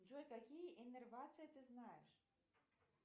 джой какие иннервации ты знаешь